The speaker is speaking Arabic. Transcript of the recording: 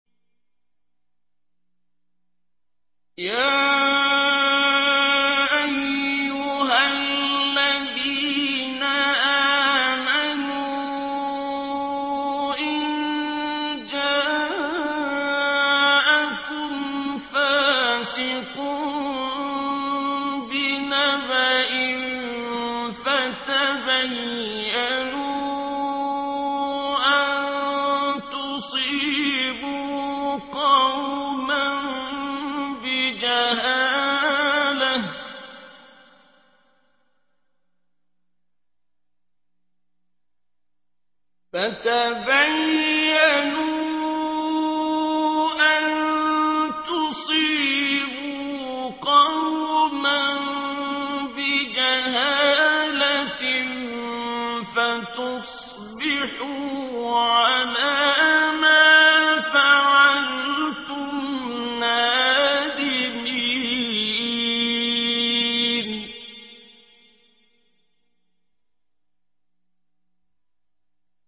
يَا أَيُّهَا الَّذِينَ آمَنُوا إِن جَاءَكُمْ فَاسِقٌ بِنَبَإٍ فَتَبَيَّنُوا أَن تُصِيبُوا قَوْمًا بِجَهَالَةٍ فَتُصْبِحُوا عَلَىٰ مَا فَعَلْتُمْ نَادِمِينَ